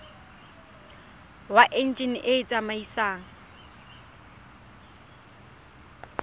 wa enjine e e tsamaisang